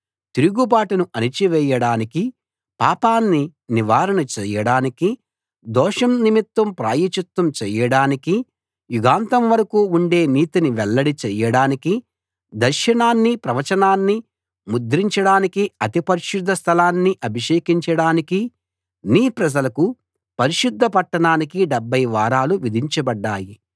తిరుగుబాటును అణచి వేయడానికి పాపాన్ని నివారణ చేయడానికి దోషం నిమిత్తం ప్రాయశ్చిత్తం చేయడానికి యుగాంతం వరకు ఉండే నీతిని వెల్లడి చేయడానికి దర్శనాన్ని ప్రవచనాన్ని ముద్రించడానికి అతి పరిశుద్ధ స్థలాన్ని అభిషేకించడానికి నీ ప్రజలకు పరిశుద్ధ పట్టణానికి 70 వారాలు విధించబడ్డాయి